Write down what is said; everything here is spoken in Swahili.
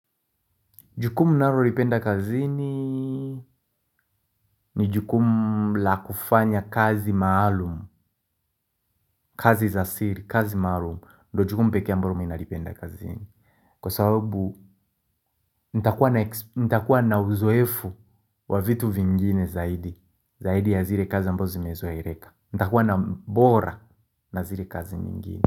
Jukumu ninalolipenda kazini ni jukumu la kufanya kazi maalumu, kazi za siri, kazi maalumu, ndio jukumu pekee ambalo mimi ninalipenda kazini. Kwa sababu, nitakuwa na uzoefu wa vitu vingine zaidi, zaidi ya zile kazi ambazo zimezoeleka. Nitakuwa na ubora na zile kazi nyingine.